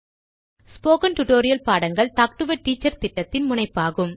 spoken tutorial பாடங்கள் talk a teacher திட்டத்தின் முனைப்பாகும்